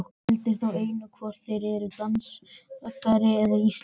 Gildir þá einu hvort þeir eru danskir eða íslenskir.